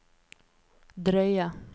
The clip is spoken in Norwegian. drøye